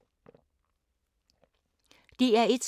DR1